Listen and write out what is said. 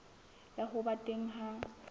ya ho ba teng ha